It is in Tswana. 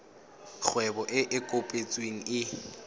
kgwebo e e kopetsweng e